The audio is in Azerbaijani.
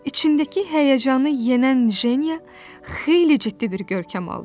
İçindəki həyəcanı yənən Jenya xeyli ciddi bir görkəm aldı.